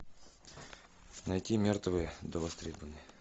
найти мертвые до востребования